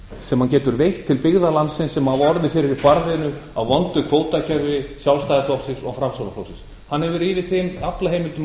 sem hann getur veitt til byggða landsins sem hafa orðið fyrir barðinu á vondu kvótakerfi sjálfstæðisflokksins og framsóknarflokksins hann hefur yfir þeim aflaheimildum